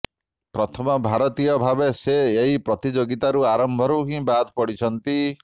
ପ୍ରଥମ ଭାରତୀୟ ଭାବେ ସେ ଏହି ପ୍ରତିଯୋଗିତାରୁ ଆରମ୍ଭରୁ ହିଁ ବାଦ୍ ପଡିଛନ୍ତି